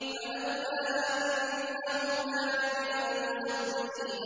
فَلَوْلَا أَنَّهُ كَانَ مِنَ الْمُسَبِّحِينَ